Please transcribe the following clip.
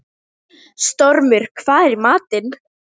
Stormur, hvað er í matinn?